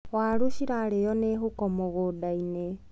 Warũ cirarĩo nĩ huko mũgũndainĩ.